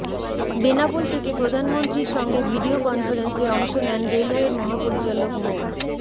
বেনাপোল থেকে প্রধানমন্ত্রীর সঙ্গে ভিডিও কনফারেন্সে অংশ নেন রেলওয়ের মহাপরিচালক মো